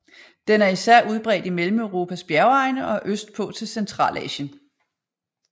Den er især udbredt i Mellemeuropas bjergegne og østpå til Centralasien